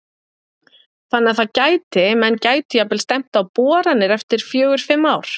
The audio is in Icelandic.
Þannig að það gæti, menn gætu jafnvel stefnt á boranir eftir fjögur, fimm ár?